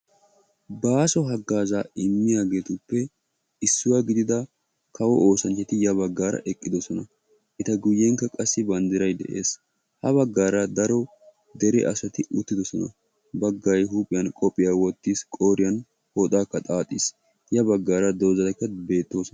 Baaso hagaza immiyageetuppe issuwa gidida kawo oosanchchi ya baggara eqqidoosona; eta guyyenkka qassi banddiray de'ees; ha baggara daro dere asati uttidoosona; baggay huuphiyaan kophiyaa wottiis qooriyaan pooxakka xaaxxiis; ya baggara doozatikka beettoosona